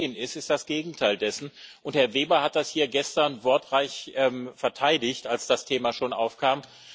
Was geschehen ist, ist das Gegenteil dessen, und Herr Weber hat das hier gestern wortreich verteidigt, als das Thema schon aufkam.